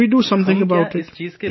So, can we do something about it